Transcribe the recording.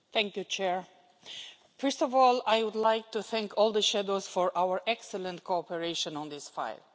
Mr President, first of all, I would like to thank all the shadows for our excellent cooperation on this file.